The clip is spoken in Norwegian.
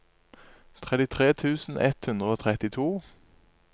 trettitre tusen ett hundre og trettito